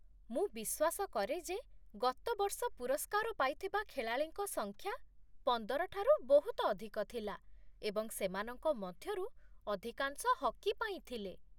ମୁଁ ବିଶ୍ୱାସ କରେ ଯେ ଗତ ବର୍ଷ ପୁରସ୍କାର ପାଇଥିବା ଖେଳାଳିଙ୍କ ସଂଖ୍ୟା ପନ୍ଦର ଠାରୁ ବହୁତ ଅଧିକ ଥିଲା ଏବଂ ସେମାନଙ୍କ ମଧ୍ୟରୁ ଅଧିକାଂଶ ହକି ପାଇଁ ଥିଲେ।